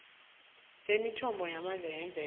semithombo yamandla yemvelo